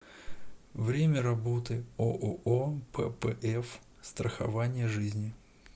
время работы ооо ппф страхование жизни